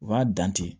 U b'a dan ten